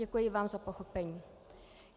Děkuji vám za pochopení.